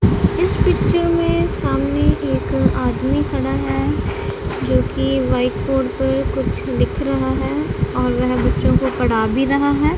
इस पिक्चर में सामने एक आदमी खड़ा है जोकि व्हाइट बोर्ड पर कुछ लिख रहा है और वह बच्चों को पढ़ा भी रहा है।